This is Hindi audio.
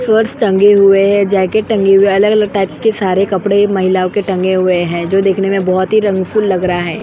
पर्स टंगे हुए है जेकेट टंगे हुए है अलग अलग टाइप के सारे कपड़े महिला के टंगे हुए है जो देखने में बहुत ही रंग फूल लग रहा है।